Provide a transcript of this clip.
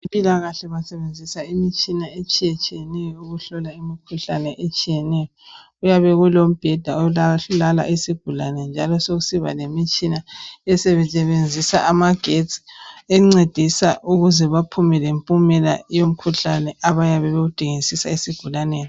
Empilakahle basebenzisa imitshina etshiya tshiyeneyo ukuhlola imkhuhlane etshiyeneyo .Kuyabe Kulo mbheda olala isigulane njalo sokusiba lemitshina esebenzisa amagetsi .Encedisa ukuze baphume lempumela yomkhuhlane abayabe bewudingisisa esgulaneni .